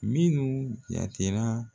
Minnu jatera